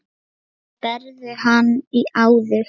Hvernig berðu hann á þig?